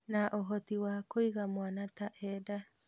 Na ũhoti wa kũiga mwana ta e nda